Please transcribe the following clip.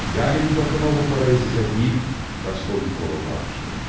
Yəni bir baxıma bu parayı sizə deyil, Raskolnikova bağışlıyorum.